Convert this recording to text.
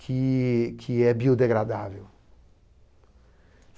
Que, que é biodegradável.